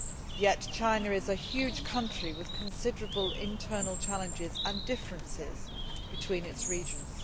Yet China is a huge country with considerable internal challenges and differences between its regions.